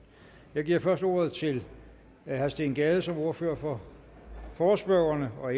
jeg giver først ordet til herre steen gade som ordfører for forespørgerne og